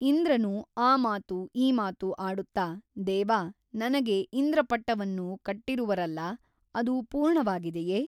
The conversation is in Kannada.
ಇಂದ್ರನು ಆ ಮಾತು ಈ ಮಾತು ಆಡುತ್ತ ದೇವ ನನಗೆ ಇಂದ್ರಪಟ್ಟವನ್ನು ಕಟ್ಟಿರುವರಲ್ಲಾ ಅದು ಪೂರ್ಣವಾಗಿದೆಯೆ ?